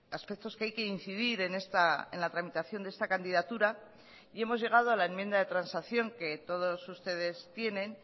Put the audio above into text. aspectos que hay que incidir en la tramitación de esta candidatura y hemos llegado a la enmienda de transacción que todos ustedes tienen